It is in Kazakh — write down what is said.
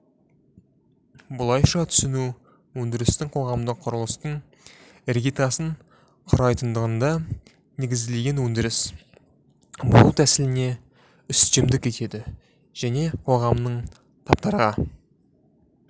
бұлайша түсіну өндірістің қоғамдық құрылыстың іргетасын құрайтындығына негізделген өндіріс бөлу тәсіліне үстемдік етеді және қоғамның таптарға